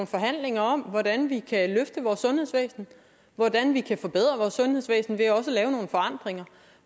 forhandlinger om hvordan vi kan løfte vores sundhedsvæsen hvordan vi kan forbedre vores sundhedsvæsen ved også at lave nogle forandringer